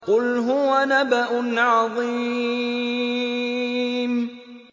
قُلْ هُوَ نَبَأٌ عَظِيمٌ